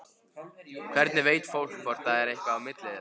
Hvernig veit fólk hvort það er eitthvað á milli þeirra?